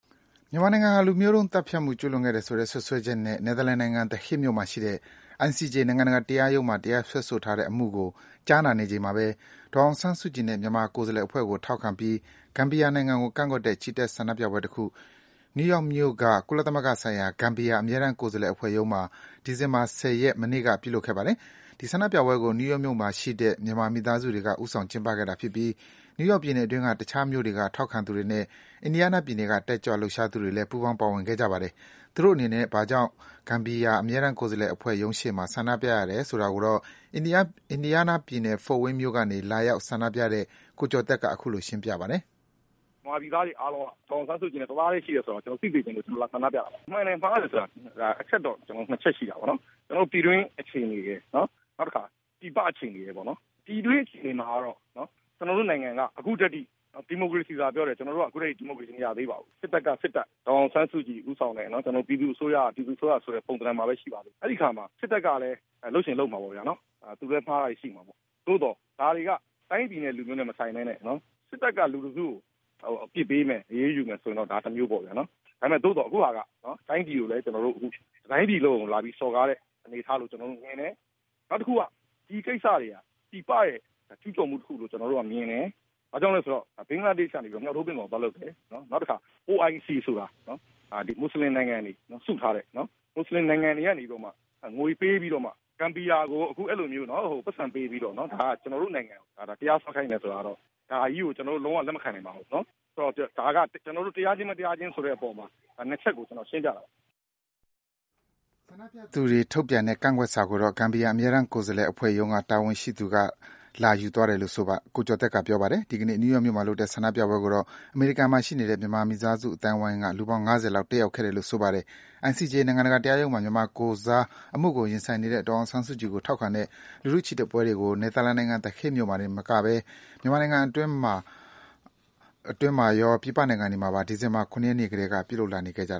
မြန်မာနိုင်ငံဟာ လူမျိုးတုံးသတ်ဖြတ်မှု ကျူးလွန်ခဲ့တယ်ဆိုတဲ့ စွပ်စွဲချက်နဲ့ နယ်သာလန်နိုင်ငံ၊ The Hague မြို့မှာရှိတဲ့ ICJ နိုင်ငံတကာတရားရုံးမှာ မြန်မာနိုင်ငံကို တရားစွဲဆိုထားတဲ့အမှုကို ကြားနာနေချိန်မှာပဲ ဒေါ်အောင်ဆန်းစုကြည်နဲ့ မြန်မာ ကိုယ်စားလှယ်အဖွဲ့ကို ထောက်ခံပြီး ဂမ်ဘီယာကိုကန့်ကွက်တဲ့ ဆန္ဒပြပွဲတခု ကုလသမဂ္ဂဆိုင်ရာ ဂမ်ဘီယာ အမြဲတမ်း ကိုယ်စားလှယ်အဖွဲ့ရုံးရှေ့မှာ ဒီဇင်ဘာလ ၁၀ ရက်၊ အင်္ဂါနေ့က ပြုလုပ်ခဲ့ပါတယ်။ ဒီဆန္ဒပြပွဲကို နယူးယောက်မြို့မှာရှိတဲ့ မြန်မာမိသားစုတွေက ဦးဆောင်ကျင်းပတာဖြစ်ပြီး နယူးယောက်ပြည်နယ်တွင်း တခြားမြို့တွေက ထောက်ခံသူတွေနဲ့ အင်ဒီယားနားပြည်နယ်က တက်ကြွလှုပ်ရှားသူတွေလည်း ပူးပေါင်း ပါဝင်ခဲ့ကြပါတယ်။ သူတို့အနေနဲ့ ဘာကြောင့် အခုလို ဂမ်ဘီယာ အမြဲတမ်းကိုယ်စားလှယ်ရုံးရှေ့မှာ ဆန္ဒပြရတယ်ဆိုတာကိုတော့ အင်ဒီယားနားပြည်နယ်၊ Fort Wayne မြို့ကနေ ပူးပေါင်းဆန္ဒပြတဲ့ ကိုကျော်သက်က အခုလို ရှင်းပြပါတယ်။ “မြန်မာပြည်သားတွေအားလုံး ဒေါ်အောင်ဆန်းစုကြည်နဲ့ တသားထဲရှိတယ်ဆိုတာကို ပြချင်လို့ ကျနေ်ာတို့ ဒီမှာ ဆန္ဒပြတာပါ။ မှန်တယ်၊ မှားတယ်ဆိုတာ အချက် ၂ ချက်ရှိတာပေါ့နော် ကျနော်တို့ ပြည်တွင်းအခြေအနေရယ် ၊ နောက်တခါ ပြည်ပအခြေအနေရယ်ပေါ့နော်။ ပြည်တွင်းအခြေအနေက ကျနော်တို့နိုင်ငံက အခုအထိ ဒီမိုကရေစီဆိုတာပြောတယ် အခုအထိ ဒီမိုကရေစီ မရသေးပါဘူး။ စစ်တပ်က စစ်တပ်၊ ဒေါ်အောင်ဆန်းစုကြည်ဦးဆောင်တဲ့ ပြည်သူ့အစိုးရက အစိုးရ ဆိုတဲ့ ပုံသဏ္ဍန်မှာပဲ ရှိသေးတယ်။ အဲဒီအခါမှာ စစ်တပ်ကလည်း လုပ်ချင်လုပ်မှာပေါ့နော် သူလည်း မှားတာရှိမှာပေါ့။ သို့သော် ဒါတွေက တိုင်းပြည်နဲ့ လူမျိုးနဲ့ မဆိုင်ပဲနဲ့ စစ်တပ်က လူတစုကို အရေးယူ အပြစ်ပေးမယ်ဆိုရင်တော့ တမျိုးပေါ့ဗျာ ။ ဒါပေမယ့် အခုဟာက တတိုင်းပြည်လုံးကို လာပြီး စော်ကားတဲ့အနေအထားမျိုး ကျနော်တို့မြင်တယ်။ နောက်တခုက ဒီကိစ္စတွေဟာ ပြည်ပရဲ့ ကျူးကျော်မှုတခုလို့ ကျနော်တို့ မြင်တယ်။ ဘာဖြစ်လို့လဲဆိုတော့ ဘင်္ဂလားဒေ့ဘက်ကနေ မြှောက်ထိုးပင့်ကော် သွားလုပ်ခဲ့တယ်။ နောက်တခါ OIC ဆိုတာ မွတ်ဆလင်နိုင်ငံတွေ စုထားတဲ့ မွတ်ဆလင်နိုင်ငံကနေပြီးတော့မှ ငွေပေးပြီးတော့ ဂမ်ဘီယာ ကို ပိုက်ဆံပေးပြီးတော့ ကျနော်တို့ နိုင်ငံကိုတရားစွဲခိုင်းတယ်ဆိုတာကို ကျနော်တို့ လုံး၀ လက်မခံနိုင်ပါဘူး။ ဒါက တရားခြင်း၊ မတရားခြင်းဆိုတဲ့ အချက် ၂ ချက်ကို ကျနော်ရှင်းပြတာပါ။” ဂမ်ဘီယာအပေါ်ကန့်ကွက်တဲ့ ဆန္ဒပြသူတွေရဲ့စာကို ဂမ်ဘီယာ အမြဲတမ်းကိုယ်စားလှယ်အဖွဲ့ရုံးက တာဝန်ရှိသူတဦး ထွက်လာပြီး လက်ခံရယူတယ်လို့လည်း ကိုကျော်သက်ကပြောပါတယ်။ နယူးယောက်မှာလုပ်တဲ့ ဆန္ဒပြပွဲမှာ အမေရိကန်မှာရှိနေတဲ့ မြန်မာမိသားစုအသိုင်းဝိုင်းက လူပေါင်း ၅၀ လောက် ပါဝင်ခဲ့တယ်လို့ ဆိုပါတယ်။ ICJ နိုင်ငံတကာတရားရုံးမှာ မြန်မာနိုင်ငံကိုယ်စား အမှုကို ဦးဆောင်ရင်ဆိုင်နေတဲ့ ဒေါ်အောင်ဆန်းစုကြည်ကို ထောက်ခံ ဝန်းရံသူ တွေ နယ်သာလန်နိုင်ငံ၊ The Hague မြို့ ICJ တရားရုံးရှေ့မှာ စုဝေးကြသလို မြန်မာနိုင်ငံတွင်းမှာရော ပြည်ပနိုင်ငံတွေမှာပါ ထောက်ခံပွဲတွေကို ဒီဇင်ဘာလ ၇ ရက်နေ့ကတည်းက လုပ်လာနေကြပါတယ